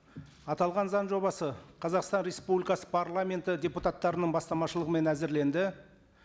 аталған заң жобасы қазақстан республикасы парламенты депутаттарының бастамашылығымен әзірленді